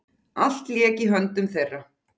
Allt lék í höndum þeirra.